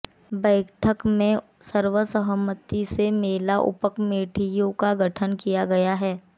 बैठक में सर्वसहमति से मेला उपकमेटियों का गठन किया गया